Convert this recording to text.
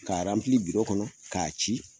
Ka kɔnɔ k'a ci.